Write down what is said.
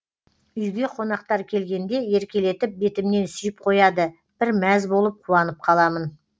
үйге қонақтар келгенде еркелетіп бетімнен сүйіп қояды бір мәз болып қуанып қаламын